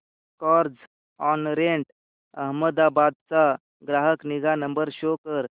Carzonrent Ahmedabad चा ग्राहक निगा नंबर शो कर